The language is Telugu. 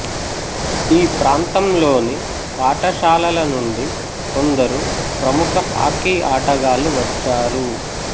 ఈ ప్రాంతంలోని పాఠశాలల నుండి కొందరు ప్రముఖ హాకీ ఆటగాళ్ళు వచ్చారు